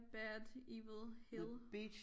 Bad evil hill